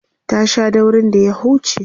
ta Sha daurin da ya huce